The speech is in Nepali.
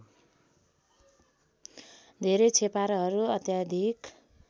धेरै छेपारोहरू अत्याधिक